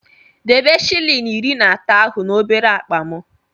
Debe shịlịn iri na atọ ahụ n'obere akpa m!